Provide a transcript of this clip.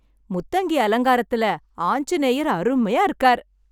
முத்தங்கி அலங்காரத்துல ஆஞ்சநேயர் அருமையா இருக்கார்!